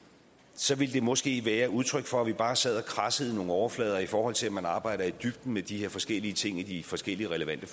så ville det måske være udtryk for at vi bare sad og kradsede i nogle overflader i forhold til at man arbejdede i dybden med de her forskellige ting i de forskellige relevante